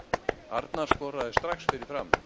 Arnar skoraði strax fyrir Fram